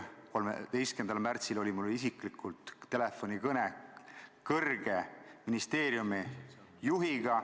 Näiteks oli reedel, 13. märtsil mul telefonikõne ministeeriumi kõrge juhiga.